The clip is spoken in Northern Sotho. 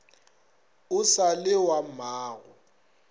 o sa le wa mmago